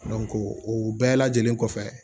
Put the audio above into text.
o bɛɛ lajɛlen kɔfɛ